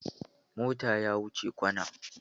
Motan ya wuce kwana